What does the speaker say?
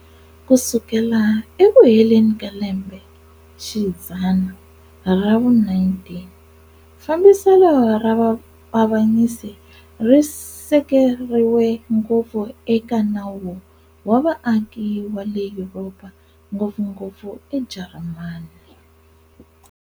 Ku sukela eku heleni ka lembexidzana ra vu-19, fambiselo ra vuavanyisi ri sekeriwe ngopfu eka nawu wa vaaki wa le Yuropa, ngopfungopfu eJarimani.